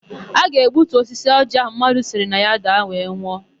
A ga-egbutu osisi ọjịị áhụ̀ mmadụ siri na ya daa were nwụọ.